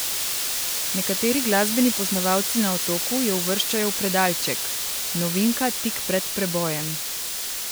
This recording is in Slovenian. Nekateri glasbeni poznavalci na Otoku jo uvrščajo v predalček: "novinka tik pred prebojem".